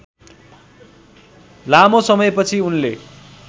लामो समयपछि उनले